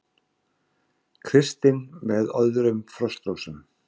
Kristinn með öðrum Frostrósum